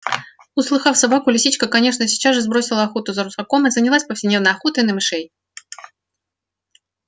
услыхав собаку лисичка конечно сейчас же бросила охоту за русаком и занялась повседневной охотой на мышей